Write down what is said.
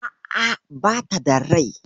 A'a, bata da rai.